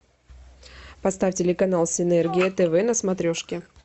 поставь телеканал синергия тв на смотрешке